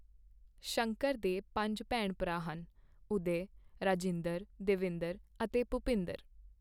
ਸ਼ੰਕਰ ਦੇ ਪੰਜ ਭੈਣ ਭਰਾ ਸਨ, ਉਦੈ, ਰਾਜਿੰਦਰ, ਦੇਵਿੰਦਰ ਅਤੇ ਭੁਪਿੰਦਰ।